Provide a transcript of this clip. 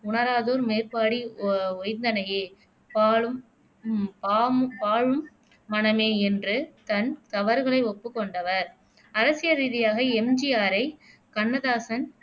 உணராதோர் மேற்பாடி ஒ ஓய்ந்தனையே பாழும் ம் பாம் பாலும் மனமே என்று தன் தவறுகளை ஒப்புக் கொண்டவர் அரசியல் ரீதியாக எம். ஜி. ஆரை கண்ணதாசன்